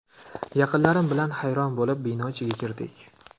Yaqinlarim bilan hayron bo‘lib, bino ichiga kirdik.